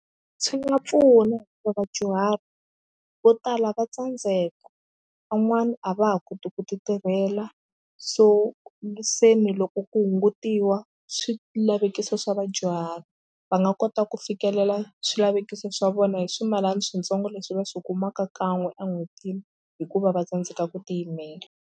Swi nga pfuna hikuva vadyuhari vo tala va tsandzeka van'wani a va ha koti ku titirhela so se ni loko ku hungutiwa swilavekiso swa vadyuhari va nga kota ku fikelela swilavekiso swa vona hi swimalana switsongo leswi va swi kumaka kan'we en'hwetini hikuva va tsandzeka ku tiyimela.